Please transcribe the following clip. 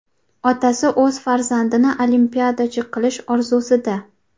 Otasi o‘z farzandini olimpiadachi qilish orzusida.